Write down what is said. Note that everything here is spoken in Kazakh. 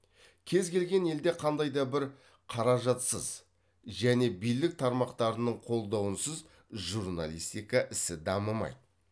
кез келген елде қандай да бір қаражатсыз және билік тармақтарының қолдауынсыз журналистика ісі дамымайды